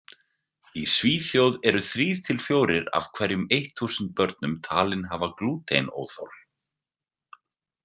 Í Svíþjóð eru þrír til fjórir af hverjum eitt þúsund börnum talin hafa glútenóþol.